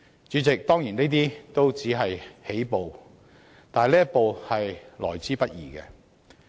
主席，當然，這些也只是起步，但這一步是得來不易的。